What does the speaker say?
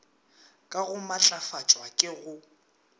ka go matlafatšwa ke go